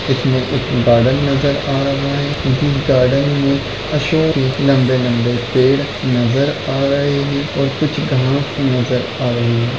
इसमें एक बदल नजर आ रहा है इस गार्डन मे लंबे लंबे पेड़ नजर आ रहे हैं और कुछ घास नजर आ रहे हैं।